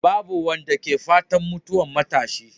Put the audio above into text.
Babu wanda ke fatan mutuwa matashi.